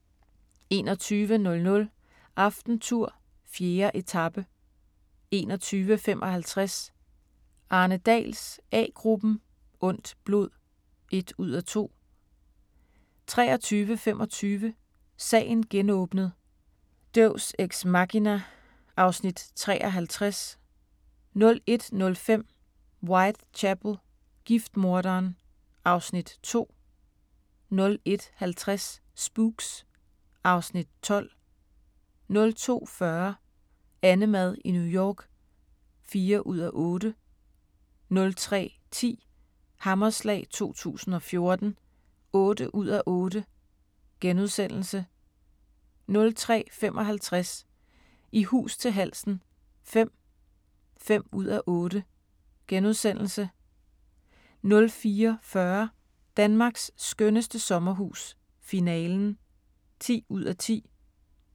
21:00: AftenTour: 4. etape 21:55: Arne Dahls A-gruppen: Ondt blod (1:2) 23:25: Sagen genåbnet: Deus Ex Machina (Afs. 53) 01:05: Whitechapel: Giftmorderen (Afs. 2) 01:50: Spooks (Afs. 12) 02:40: AnneMad i New York (4:8) 03:10: Hammerslag 2014 (8:8)* 03:55: I hus til halsen V (5:8)* 04:40: Danmarks skønneste sommerhus - finalen (10:10)